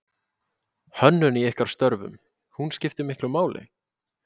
Hönnun í ykkar störfum, hún skiptir miklu máli?